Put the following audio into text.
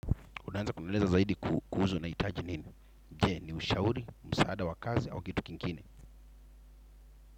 Unawenza kunieleza zaidi kuhusu unahitaji nini? Je, ni ushauri, msaada wa kazi au kitu kingine.